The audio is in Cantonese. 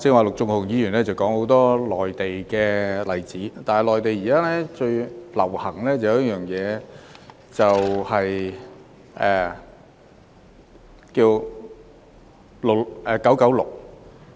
陸頌雄議員剛才提到很多內地的例子，但內地現時最流行 "9-9-6"。